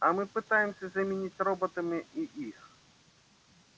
а мы пытаемся заменить роботами и их